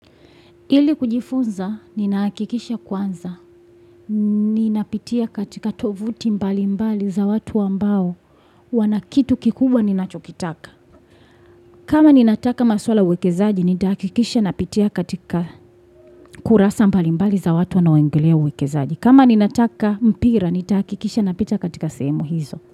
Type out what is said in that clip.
Ili kujifunza, nina hakikisha kwanza. Ninapitia katika tovuti mbali mbali za watu wambao wanakitu kikubwa ninachokitaka. Kama ninataka maswala wekezaji, nitahakikisha napitia katika kurasa mbali mbali za watu wanao ongelea uwekezaji. Kama nina taka mpira, nitahakikisha napita katika sehemu hizo.